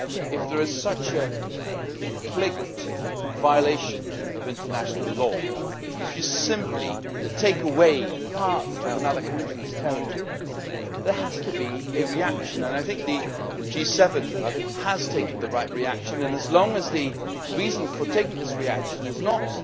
If there is such a flagrant violation of international law, if you simply take away part of another country's territory, there has to be a reaction. I think the G7 has taken the right reaction, and as long as the reason for taking this reaction is